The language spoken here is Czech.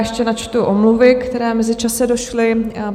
Ještě načtu omluvy, které v mezičase došly.